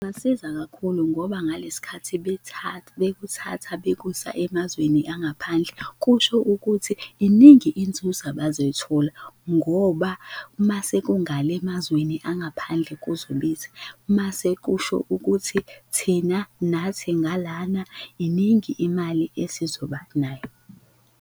Kungasiza kakhulu ngoba ngalesikhathi bethatha bekuthatha bekusa emazweni angaphandle, kusho ukuthi iningi inzuzo abazoyithola ngoba umase kungale emazweni angaphandle kuzobiza, mase kusho ukuthi thina nathi ngalana iningi imali esizoba nayo.